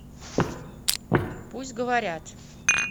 пусть говорят